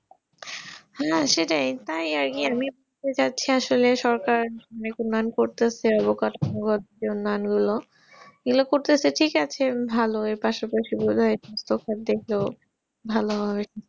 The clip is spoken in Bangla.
হ্যাঁ সেটাই তাই আরকি আমি যাচ্ছি আসলে সরকার করতেছে অবকাশ এগুলি করতেছে ঠিক আছে ভালোই পাশাপাশি বোধাই তফাৎ দেখলো ভালো হয়